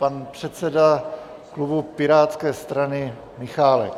Pan předseda klubu Pirátské strany Michálek.